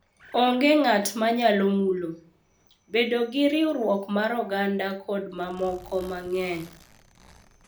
Onge ng’at ma nyalo mulo, bedo gi riwruok mar oganda kod mamoko mang’eny.